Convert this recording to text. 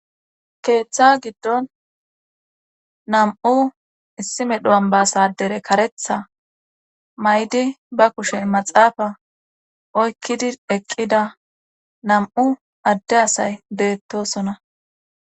Keeththa giddon nam7u issi medhu7an baasadere karetha may7di ba kushen maxaafa oykkidi eqqida nam7u adde asay deettosona.